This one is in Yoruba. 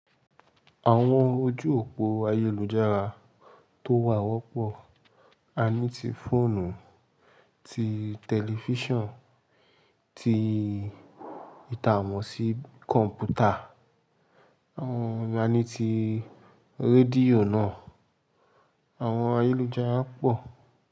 Àwọn ojú òpó ayélujára tó wà wọ́pọ̀, a ní ti fóònù, ti tẹlifísàn, ti ìtàmọ̀sí kọ̀m̀pútà, àwọn ani ti rédíò náà. Àwọn ayélujára pọ̀